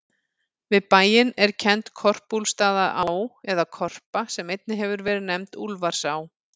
Við bæinn er kennd Korpúlfsstaðaá, eða Korpa, sem einnig hefur verið nefnd Úlfarsá.